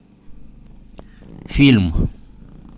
фильм